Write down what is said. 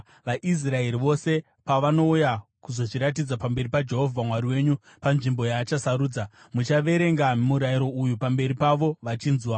vaIsraeri vose pavanouya kuzozviratidza pamberi paJehovha Mwari wenyu panzvimbo yaachasarudza, muchaverenga murayiro uyu pamberi pavo vachinzwa.